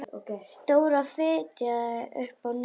Dóra fitjaði upp á nefið.